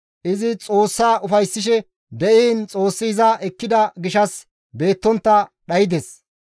Izi Xoossa ufayssishe diin Xoossi iza ekkida gishshas beettontta dhaydes.